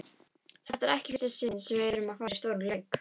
Þetta er ekki í fyrsta sinn sem við erum að fara í stóran leik.